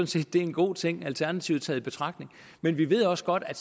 set er en god ting alternativet taget i betragtning men vi ved også godt at